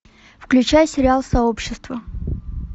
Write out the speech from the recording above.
включай сериал сообщество